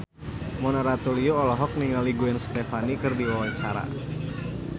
Mona Ratuliu olohok ningali Gwen Stefani keur diwawancara